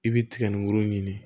I bɛ tiga ni woro ɲini